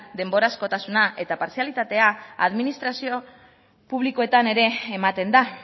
denborazkotasuna eta partzialitatea administrazio publikoetan ere ematen da